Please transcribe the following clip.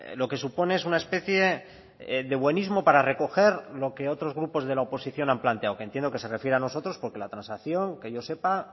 lo que supone es una especie de buenismo para recoger lo que otros grupos de la oposición han planteado que entiendo que se refiere a nosotros porque la transacción qué yo sepa